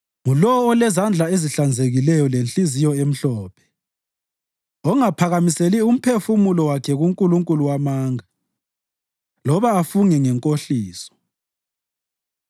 Ngulowo olezandla ezihlanzekileyo lenhliziyo emhlophe, ongaphakamiseli umphefumulo wakhe kunkulunkulu wamanga loba afunge ngenkohliso.